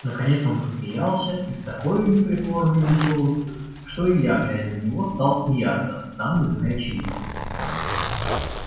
наконец он засмеялся и с такою непритворной веселостию что и я глядя на него стал смеяться сам не зная чему